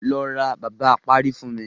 Lọ ra bàbá apárí fún mi.